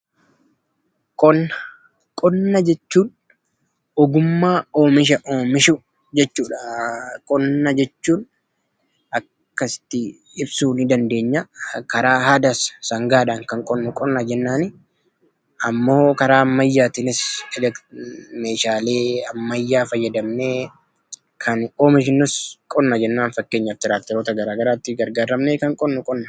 Qonnaa jechuun ogummaa oomisha oomishuu jechuudha. Qonni karaa aadaa kan sangaadhan qotamuu fi karaa ammayyaan kan tirakterootaan qotamuu jechuudha.